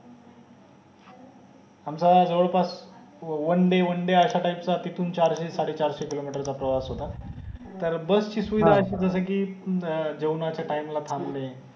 आमचा जवळ पास one day one day अस्या टाईप चा तेथून चारशे साडेचारशे किलोमीटरचा प्रवास होता तर बसची सुविधा जस कि अं जेवणाचा time ला थांबणे